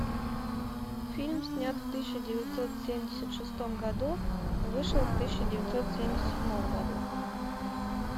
фильм снят в тысяча девятьсот семьдесят шестом году вышел в тысяча девятьсот семьдесят седьмом году